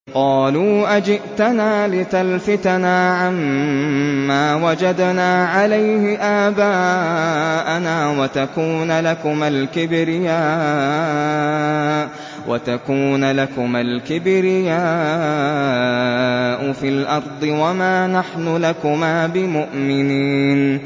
قَالُوا أَجِئْتَنَا لِتَلْفِتَنَا عَمَّا وَجَدْنَا عَلَيْهِ آبَاءَنَا وَتَكُونَ لَكُمَا الْكِبْرِيَاءُ فِي الْأَرْضِ وَمَا نَحْنُ لَكُمَا بِمُؤْمِنِينَ